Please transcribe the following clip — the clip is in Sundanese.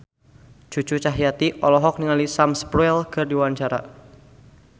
Cucu Cahyati olohok ningali Sam Spruell keur diwawancara